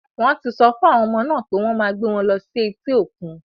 Wọ́n ti sọ fún àwọn ọmọ náà pé wọ́n máa gbé wọn lọ sí etí òkun.